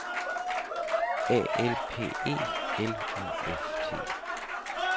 A L P E L U F T